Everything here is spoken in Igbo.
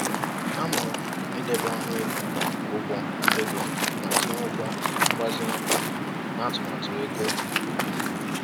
Amụrụ m ịdebe ọnụego ụgwọ ego ma tinye ụgwọ mgbazinye n’atụmatụ ego ubi m